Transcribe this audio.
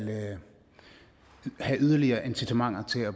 have yderligere incitamenter til at